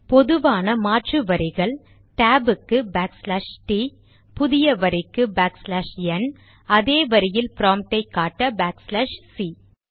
பொதுவான மாற்று வரிகள் டேப் ற்கு பேக்ச்லாஷ் டி t புதிய வரிக்கு பேக்ச்லாஷ் என் அதே வரியில் ப்ராம்ட்டை காட்ட பேக்ச்லாஷ் சி